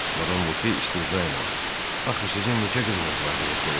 Madam Voke istehza ilə: Axı sizin neçə qızınız var?